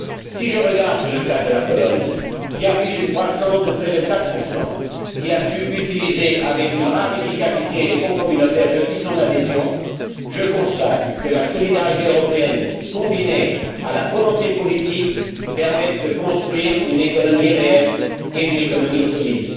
Si je prends le cas de la Pologne, qui affiche une croissance de près de 4 qui a su utiliser, avec une rare efficacité, les fonds communautaires depuis son adhésion, je constate que la solidarité européenne, combinée à la volonté politique, permet de construire une économie réelle, et solide.